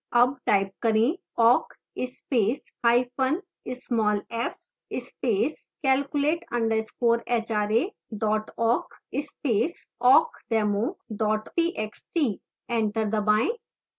awk type करें: awk space hyphen small f space calculate _ hra awk space awkdemo txt